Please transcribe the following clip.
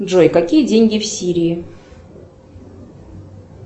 джой какие деньги в сирии